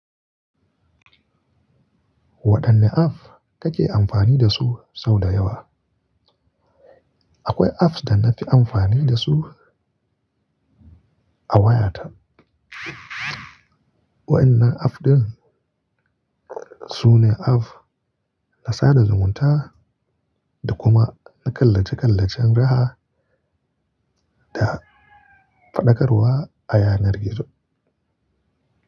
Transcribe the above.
Waɗanne apps kake amfani dasu sau da yawa? Akwai apps da na fi amfani dasu a wayata. Waɗannan app ɗin sune app na sada zumunta da kuma na ƙallace ƙallacen raha da faɗakarwa a yanar gizo.